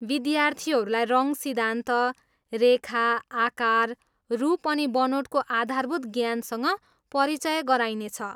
विद्यार्थीहरूलाई रङ सिद्धान्त, रेखा, आकार, रूप अनि बनोटको आधारभूत ज्ञानसँग परिचय गराइने छ।